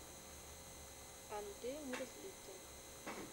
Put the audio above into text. андрей мерзликин